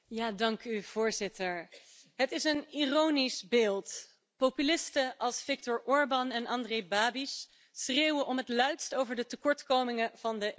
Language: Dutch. Voorzitter, het is een ironisch beeld populisten als Viktor Orbán en Andrej Babiš schreeuwen om het luidst over de tekortkomingen van de EU.